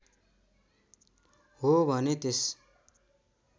हो भने त्यस